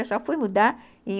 Eu só fui mudar em